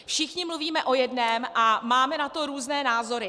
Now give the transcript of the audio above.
Všichni mluvíme o jednom a máme na to různé názory.